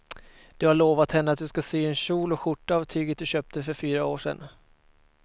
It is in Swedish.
Du har lovat henne att du ska sy en kjol och skjorta av tyget du köpte för fyra år sedan.